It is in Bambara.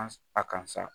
An a kansa